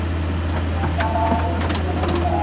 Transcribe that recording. Ég var að frétta að það ætti að útskrifa þig í dag.